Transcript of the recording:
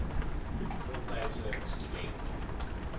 voltydse stu dente